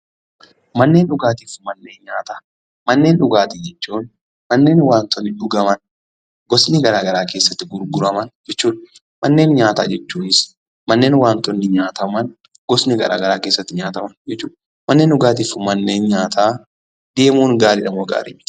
Manneen dhugaatii jechuun bakka dhugaatii gosa garagaraa keessatti gurguraman jechuudha. Manneen nyaata jechuun immoo bakka nyaanni gosa garagaraa keessatti gurguraman jechuudha.